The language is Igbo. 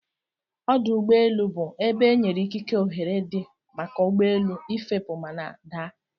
Ọdụ ụgbọ elu bu ebe enyere ikike ohere di maka ugbọelu ifepu mana adaa.